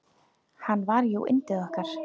Hann var jú yndið okkar.